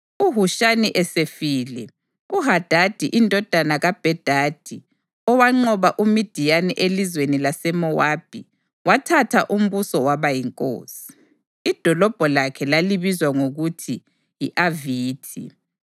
UHushamu esefile, uHadadi indodana kaBhedadi owanqoba uMidiyani elizweni laseMowabi, wathatha umbuso waba yinkosi. Idolobho lakhe lalibizwa ngokuthi yi-Avithi.